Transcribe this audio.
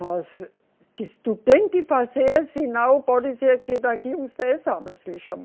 Mas, disse, tu tem que fazer, senão pode ser que daqui uns dez anos lhe chama